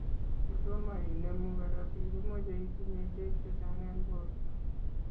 Ngotomo inemu korotik, komechei itinye beek chechang eng borto